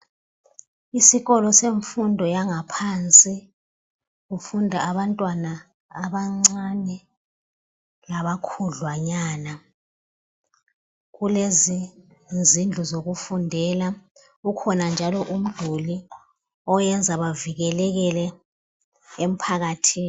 Isikolo semfundo yangaphansi kufunda abantwana abancane laba khudlwanyana kulezi zindlu zokufundela kukhona njalo umduli oyenza bavikelekele emphakathini